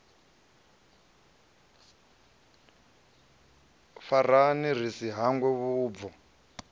farane ri si hangwe vhubvo